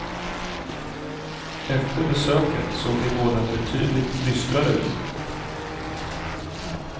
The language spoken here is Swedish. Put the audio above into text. Efter besöket såg de båda betydligt dystrare ut.